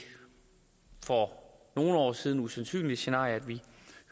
for nogle år siden usandsynlige scenarie at man